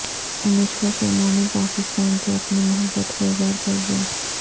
انوشکا شرما نے پاکستان سے اپنی محبت کا اظہار کر دیا